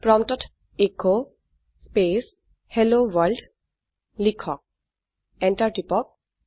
প্ৰম্পটত S space hello world লিখক enter টিপক